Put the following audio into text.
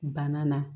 Banna na